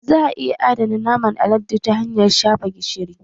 Za a iya adana naman alade ta hanyar shafa gishiri